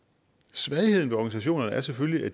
svagheden i organisationerne er selvfølgelig at